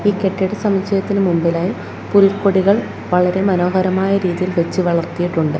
ഈ കെട്ടിട സമുച്ചയത്തിനു മുൻപിലായി പുൽക്കൊടികൾ വളരെ മനോഹരമായ രീതിയിൽ വെച്ച് വളർത്തിയിട്ടുണ്ട്.